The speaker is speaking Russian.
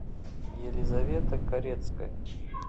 елизавета корецкая